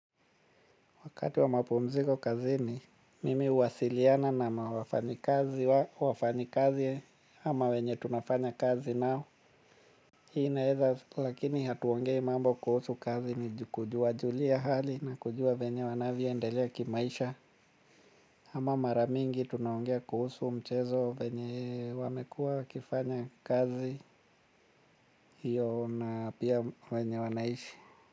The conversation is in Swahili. Wakati wa mapumziko kazini, mimi huwasiliana na wafanyi kazi, wafanyi kazi, ama wenye tunafanya kazi nao. Hii ina eza, lakini hatuongei mambo kuhusu kazi ni kuwajulia hali na kujua vyenye wanavyo endelea kimaisha. Ama maramingi tunaongea kuhusu mchezo wenye wamekua wakifanya kazi, hiyo na pia wenye wanaishi.